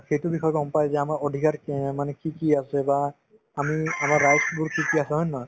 সেইটো বিষয়ে গম পাই যে আমাৰ অধিকাৰ মানে কি কি আছে বা আমি আমাৰ rights বোৰ কি কি আছে হয় নে নহয়